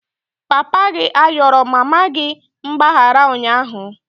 Papa gi ayọrọ mama gị mgbaghara ụnyahụ?